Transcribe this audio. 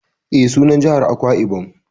E, sunan jihar Akwai-Ibom